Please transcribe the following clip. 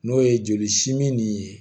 N'o ye joli simin ni ye